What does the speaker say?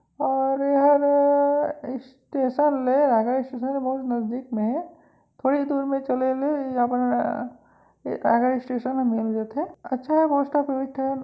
और यहा स्टेशन नहीं आएगा स्टेशन तो बहुत नजदीक में है थोड़ी दूर में चलेले यहाँ स्टेशन अच्छा है|